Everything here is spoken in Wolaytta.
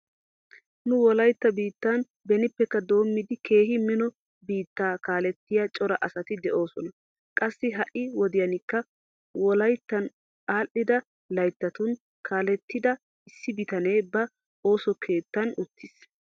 Nu wolaytta biittan benippekka doommidi keehi mino biittaa kaalettiya cora asati de'oosona. Qassi ha"i wodiyankka wolayyan aadhdhida layttatun kaalettida issi bitanee ba ooso keettan uttiis.